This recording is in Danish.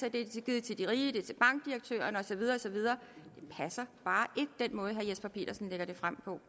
at de er givet til de rige til bankdirektørerne og så videre og så videre den måde herre jesper petersen lægger det frem på